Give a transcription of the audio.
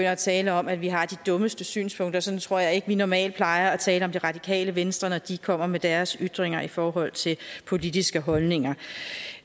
at tale om at vi har de dummeste synspunkter sådan tror jeg ikke vi normalt plejer at tale om det radikale venstre når de kommer med deres ytringer i forhold til politiske holdninger